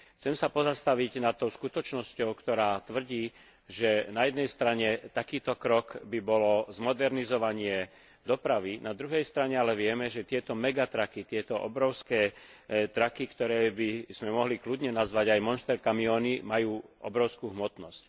Chcem sa pozastaviť nad tou skutočnosťou, ktorá tvrdí, že na jednej strane takýto krok by bolo zmodernizovanie dopravy, na druhej strane ale vieme, že tieto tieto obrovské ktoré by sme mohli kľudne nazvať aj monster kamióny, majú obrovskú hmotnosť.